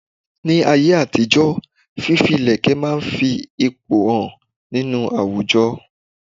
Ní ayé àtijó fífi ilẹ̀kẹ̀ máa ń fi ipò hàn nínú àwùjọ.